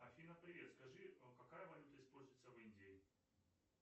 афина привет скажи какая валюта используется в индии